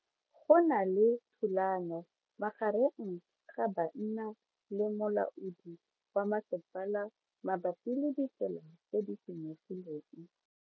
Go na le thulano magareng ga banna le molaodi wa masepala mabapi le ditsela tse di senyegileng.